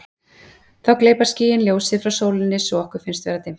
þá gleypa skýin ljósið frá sólinni svo að okkur finnst vera dimmt